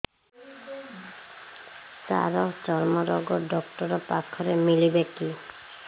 ସାର ଚର୍ମରୋଗ ଡକ୍ଟର ପାଖରେ ମିଳିବେ କି